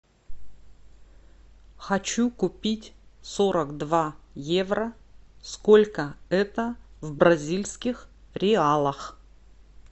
хочу купить сорок два евро сколько это в бразильских реалах